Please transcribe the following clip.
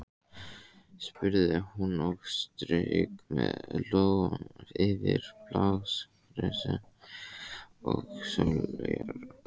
spurði hún og strauk með lófa yfir blágresi og sóleyjar.